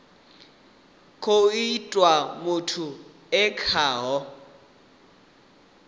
khou itiwa muthu e khaho